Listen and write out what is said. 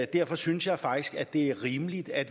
derfor synes jeg faktisk at det er rimeligt at